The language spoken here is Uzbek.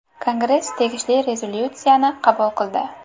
Kongress tegishli rezolyutsiyani qabul qildi.